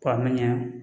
K'a mɛn